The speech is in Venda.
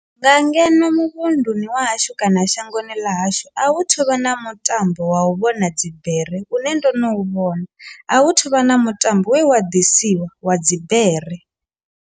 Nga ngeno muvhunduni wa hashu kana shangoni ḽa hashu a hu thuvha na mutambo wa u vhona dzibere une ndo no u vhona a hu thuvha na mutambo we wa ḓisiwa wa dzibere.